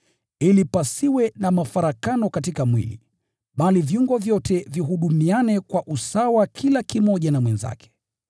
ili pasiwe na mafarakano katika mwili, bali viungo vyote vihudumiane kwa usawa kila kimoja na mwenzake.